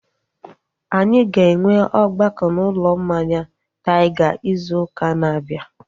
Anyị ga-enwe ọgbakọ na ụlọ mmanya Taiga izu ụka na-abịa